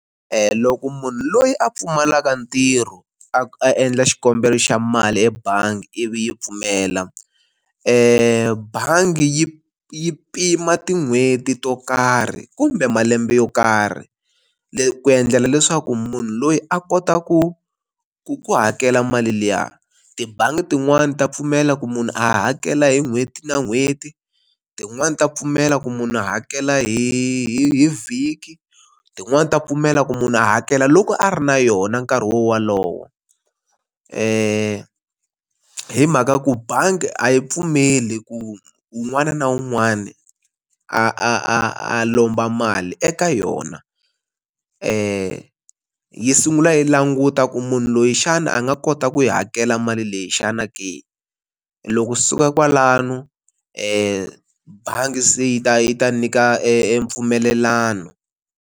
loko munhu loyi a pfumalaka ntirho, a a endla xikombelo xa mali ebangi ivi yi pfumela bangi yi yi pima tin'hweti to karhi kumbe malembe yo karhi, ku endlela leswaku munhu loyi a kota ku ku ku hakela mali liya. Tibangi tin'wani ta pfumela ku munhu a hakela hi n'hweti na n'hweti, tin'wani ta pfumela ku munhu a hakela hi hi vhiki tin'wani ta pfumela ku munhu a hakela loko a ri na yona nkarhi walowo. Hi mhaka ku bangi a yi pfumeli ku wun'wana na wun'wana a a a a lomba mali eka yona, yi sungula yi languta ku munhu loyi xana a nga kota ku yi hakela mali leyi xana ke. Loko yi suka kwalano ebangi se yi ta yi ta nyika empfumelelano.